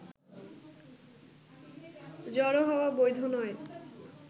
জড়ো হওয়া বৈধ নয়